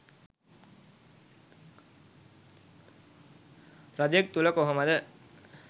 රජෙක් තුළ කොහොමද